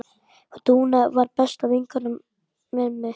Dúna var besta vinkona mömmu.